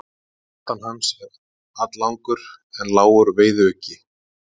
Aftan hans er alllangur en lágur veiðiuggi.